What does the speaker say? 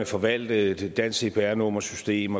forvalte et dansk cpr nummersystem